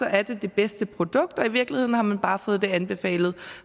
er det det bedste produkt og i virkeligheden har man bare fået det anbefalet